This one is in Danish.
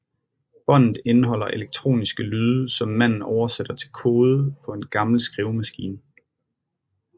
Båndet indeholder elektroniske lyde som manden oversætter til kode på en gammel skrivemaskine